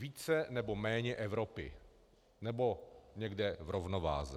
Více, nebo méně Evropy, nebo někde v rovnováze.